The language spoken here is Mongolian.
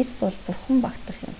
эсбол бурхан багтах юм